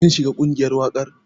Kin shiga ƙungiyar waƙar?